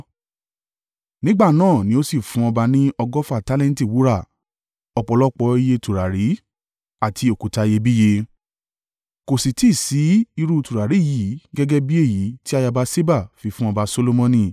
Nígbà náà ni ó sì fún ọba ní ọgọ́fà tálẹ́ǹtì wúrà. Ọ̀pọ̀lọpọ̀ iye tùràrí, àti òkúta iyebíye. Kò sì tí ì sí irú tùràrí yí gẹ́gẹ́ bí èyí tí ayaba Ṣeba fi fún ọba Solomoni.